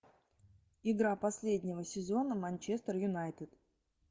игра последнего сезона манчестер юнайтед